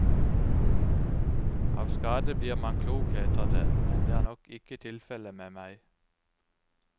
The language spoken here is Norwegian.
Av skade blir man klok heter det, men det er nok ikke tilfelle med meg.